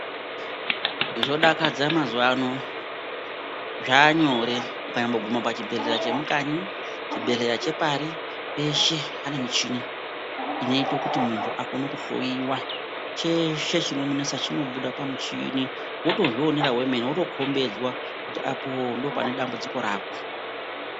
Zvodakadsa mazuwano zvaanyore ukanyomboguma muchibhedhlera chekanyi chibhedhlera chepari peshe pane muchini inoite kuti muntu akone kuhloyiwa cheshe chinomunesa chinobuda pamuchini wotozvionera wemene wotokombidzwa kuti apoo ndopane dambudziko rako.